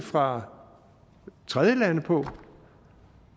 fra tredjelande på